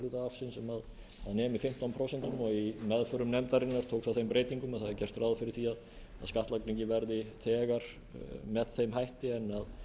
hluta ársins sem nemi fimmtán prósent og í meðförum nefndarinnar tók það þeim breytingum að það er gert ráð fyrir því að skattlagningin verði þegar með þeim hætti en